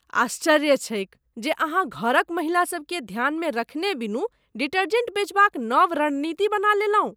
आश्चर्य छैक जे अहाँ घरक महिलासबकेँ ध्यानमे रखने बिनु डिटर्जेंट बेचबाक नब रणनीति बना लेलहुँ।